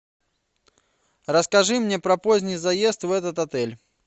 расскажи мне про поздний заезд в этот отель